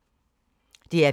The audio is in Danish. DR P3